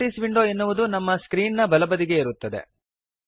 ಈ properties window ಎನ್ನುವುದು ನಮ್ಮ ಸ್ಕ್ರೀನ್ ನ ಬಲಬದಿಗೆ ಇರುತ್ತದೆ